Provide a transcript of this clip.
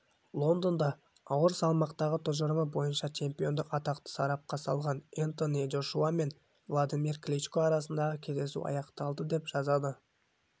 лондонда ауыр салмақтағы тұжырымы бойынша чемпиондық атақты сарапқа салған энтони джошуа мен владимир кличко арасындағы кездесу аяқталды деп жазады